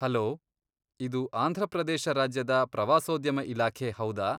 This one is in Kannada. ಹಲೋ, ಇದು ಆಂಧ್ರಪ್ರದೇಶ ರಾಜ್ಯದ ಪ್ರವಾಸೋದ್ಯಮ ಇಲಾಖೆ ಹೌದಾ?